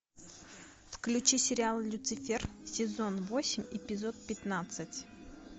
включи сериал люцифер сезон восемь эпизод пятнадцать